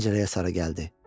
Pəncərəyə sarı gəldi.